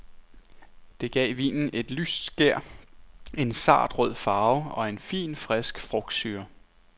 Det gav vinen et lyst skær, en sart rød farve, og en fin, frisk frugtsyre.